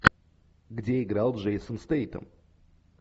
где играл джейсон стейтем